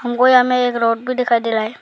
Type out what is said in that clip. गोया में एक रोड भी दिखाई दे रहा है।